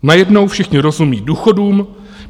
Najednou všichni rozumí důchodům.